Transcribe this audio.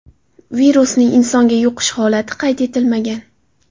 Virusning insonga yuqish holati qayd etilmagan.